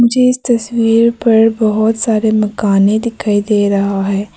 मुझे इस तस्वीर पर बहुत सारे मकाने दिखाई दे रहा है।